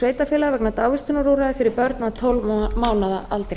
sveitarfélaga vegna dagvistunarúrræða fyrir börn að tólf mánaða aldri